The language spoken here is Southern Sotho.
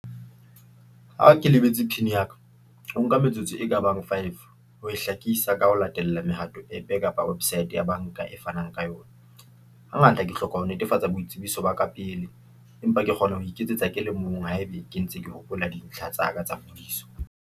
Ha ke lebetse PIN ya ka, ho nka metsotso e ka bang five ho e hlakisa ka ho latela mehato app kapa website ya banka e fanang ka yona. Ha ngata ke hloka ho netefatsa boitsebiso ba ka pele, empa ke kgona ho iketsetsa ke le mong haebe ke ntse ke hopola dintlha tsa ka tsa phodiso.